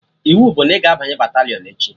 Iwu bụ na ị ga-abanye batalịọn echi!